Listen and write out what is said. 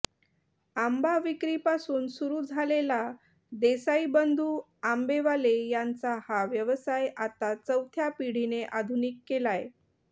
आंबा विक्रीपासून सुरू झालेला देसाई बंधू आंबेवाले यांचा हा व्यवसाय आता चौथ्या पिढीने आधुनिक केलाय